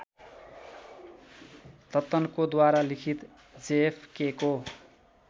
दत्तनकोद्वारा लिखित जेएफकेको